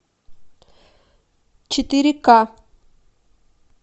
четыре к